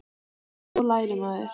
En svo lærir maður.